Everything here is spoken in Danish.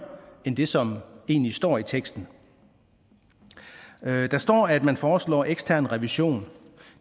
end det som egentlig står i teksten der står at man foreslår ekstern revision